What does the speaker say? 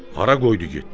Hara qoydu getdi?